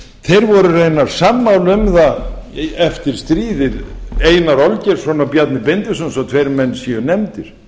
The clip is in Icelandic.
voru raunar sammála um það eftir stríðið einar olgeirsson og bjarni benediktsson svo tveir menn séu nefndir